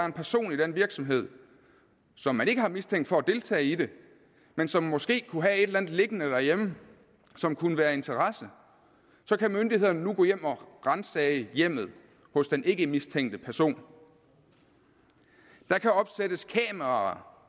en person i den virksomhed som man ikke har mistænkt for at deltage i det men som måske kunne have et eller andet liggende derhjemme som kunne være af interesse så kan myndighederne nu gå hjem og ransage hjemmet hos den ikkemistænkte person der kan opsættes kameraer